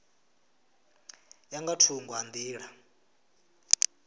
ya nga thungo ha nḓila